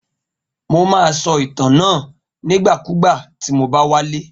Mo ma so ìtàn náà nígbàkúgbà tí mo bá wálé.